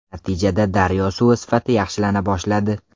Natijada daryo suvi sifati yaxshilana boshladi.